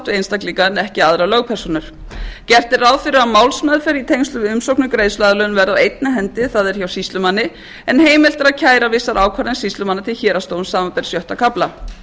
einstaklinga en ekki aðrar lögpersónur gert er ráð fyrir að málsmeðferð í tengslum við umsókn um greiðsluaðlögun verði á einni hendi það er hjá sýslumanni en heimilt er að kæra vissa ákvörðun sýslumanna til héraðsdóms samanber sjötta kafla